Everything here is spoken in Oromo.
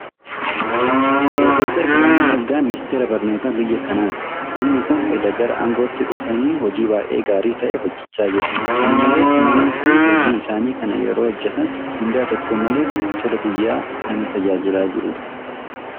Piroofesor Biraanuu Naggaa miniisteera barnootaa biyya kanaati. Namni kun edda gara aangootti dhufanii hojii baay'ee gaarii ta'e hojjechaa jiru. Kana malees namni kun hojii isaanii kana yeroo hojjetan mindaa tokko malee tola biyya kana tajaajilaa jiru.